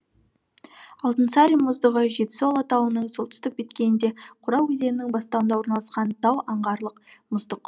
алтынсарин мұздығы жетісу алатауының солтүстік беткейінде қора өзенінің бастауында орналасқан тау аңғарлық мұздық